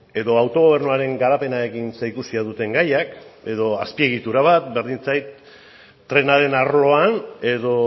edo autogobernuaren garapenarekin zerikusia duten gaiak edo azpiegitura bat berdin zait trenaren arloan edo